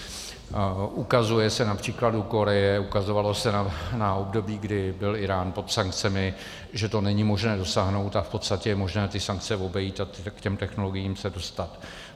Ukazuje se na příkladu Koreje, ukazovalo se na období, kdy byl Írán pod sankcemi, že to není možné dosáhnout a v podstatě je možné ty sankce obejít a k těm technologiím se dostat.